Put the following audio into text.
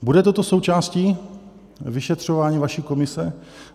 Bude toto součástí vyšetřování vaší komise?